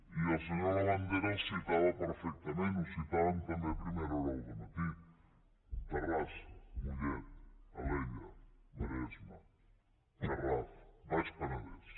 i el senyor labandera els citava perfectament i ho citàvem també a primera hora del matí terrassa mollet alella maresme garraf baix penedès